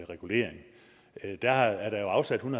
regulering der er der jo afsat en